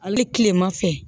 Ale tilema fɛ